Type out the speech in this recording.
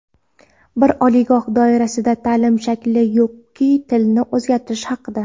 Bir oliygoh doirasida taʼlim shakli yoki tilini o‘zgartirish haqida.